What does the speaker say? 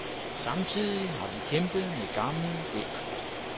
Samtidig har vi kæmpet med gammel gæld.